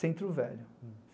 Centro Velho.